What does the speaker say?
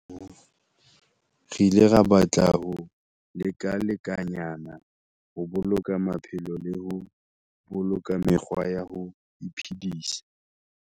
Re ile ra batla ho lekalekanyana ho boloka maphelo le ho boloka mekgwa ya ho iphedisa.